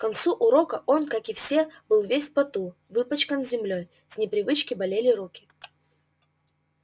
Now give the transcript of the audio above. к концу урока он как и все был весь в поту выпачкан землёй с непривычки болели руки